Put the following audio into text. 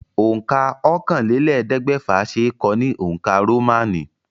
Òǹkà ọ̀kànlélẹ́ẹ̀ẹ́dẹ́gbẹ́fà ṣe é kọ ní òǹkà Rómánì.